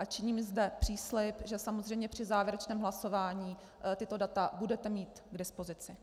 A činím zde příslib, že samozřejmě při závěrečném hlasování tato data budete mít k dispozici.